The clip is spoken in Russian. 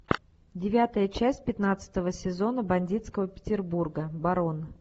девятая часть пятнадцатого сезона бандитского петербурга барон